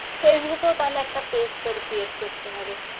ফেসবুকেও তাহলে একটা page তোর create করতে হবে।